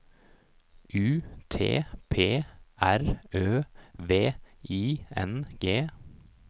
U T P R Ø V I N G